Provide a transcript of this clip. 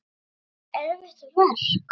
Var það erfitt verk?